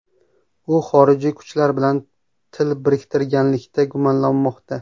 U xorijiy kuchlar bilan til biriktirganlikda gumonlanmoqda.